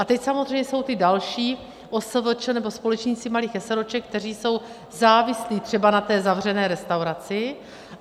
A teď samozřejmě jsou ty další OSVČ nebo společníci malých eseróček, kteří jsou závislí třeba na té zavřené restauraci.